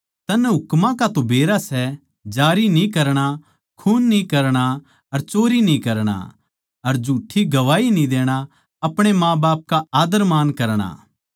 तन्नै हुकमां का तो बेराए सै जारी न्ही करणा खून न्ही करणा अर चोरी न्ही करणा अर झूठ्ठी गवाही न्ही देणा अपणे माँबाप का आद्दरमान करणा